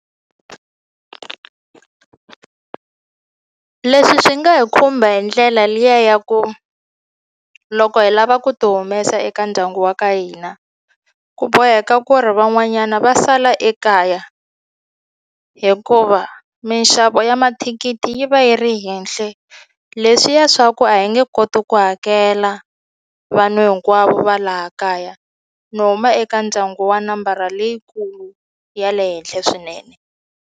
Leswi swi nga hi khumba hi ndlela liya ya ku loko hi lava ku ti humesa eka ndyangu wa ka hina ku boheka ku ri van'wanyana va sala ekaya hikuva minxavo ya mathikithi yi va yi ri henhle leswiya swa ku a hi nge koti ku hakela vanhu hinkwavo va laha kaya ni huma eka ndyangu wa nambara leyikulu ya le henhle swinene.